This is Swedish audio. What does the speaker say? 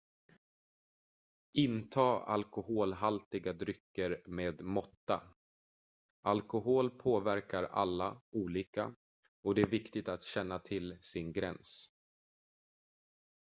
inta alkoholhaltiga drycker med måtta alkohol påverkar alla olika och det är viktigt att känna till sin gräns